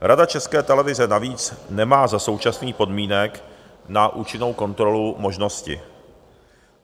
Rada České televize navíc nemá za současných podmínek na účinnou kontrolu možnosti.